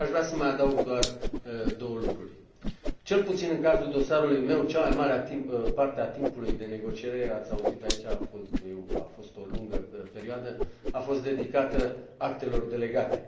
Aș vrea să mai adaug doar două lucruri cel puțin în cazul dosarului meu, cea mai mare a parte a timpului de negociere ați auzit aici, a fost o lungă perioadă a fost dedicată actelor delegate.